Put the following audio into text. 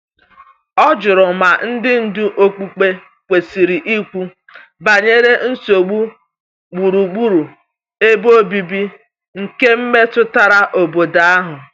O jụrụ ma ndị ndu okpukpe kwesiri ikwu banyere nsogbu gburugburu ebe obibi nke metụtara obodo ahụ.